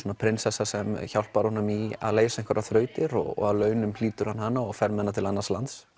prinsessa sem hjálpar honum í að leysa einhverjar þrautir og að launum hlýtur hann hana og fer með hana til annars lands